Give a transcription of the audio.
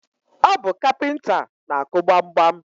Ọ bu kapinta na-akụ gbamgbam